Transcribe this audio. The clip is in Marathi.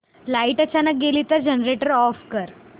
लाइट अचानक गेली तर जनरेटर ऑफ कर